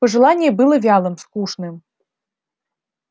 пожелание было вялым скучным